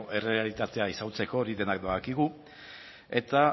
errealitatea ezagutzeko hori denak badakigu eta